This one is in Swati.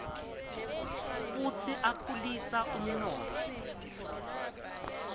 futsi akhulisa umnotfo